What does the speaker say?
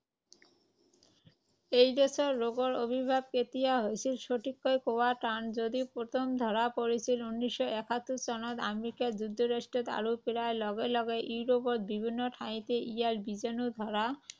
AIDS ৰোগৰ আৱিৰ্ভাৱ কেতিয়া হৈছিল সঠিককৈ কোৱা টান যদিও প্ৰথম ধৰা পৰিছিল উনৈশ শ একাশী চনত আমেৰিকা যুক্তৰাষ্ট্ৰত আৰু প্ৰায় লগে লগে ইউৰোপৰ বিভিন্ন ঠাইতে ইয়াৰ বীজাণু ধৰা